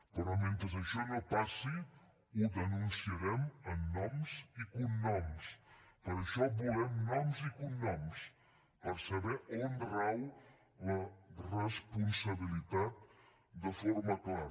però mentre això no passi ho denunciarem amb noms i cognoms per això volem noms i cognoms per saber on rau la responsabilitat de forma clara